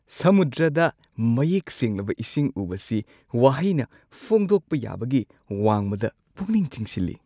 ꯁꯃꯨꯗ꯭ꯔꯗ ꯃꯌꯦꯛ ꯁꯦꯡꯂꯕ ꯏꯁꯤꯡ ꯎꯕꯁꯤ ꯋꯥꯍꯩꯅ ꯐꯣꯡꯗꯣꯛꯄ ꯌꯥꯕꯒꯤ ꯋꯥꯡꯃꯗ ꯄꯨꯛꯅꯤꯡ ꯆꯤꯡꯁꯤꯜꯂꯤ ꯫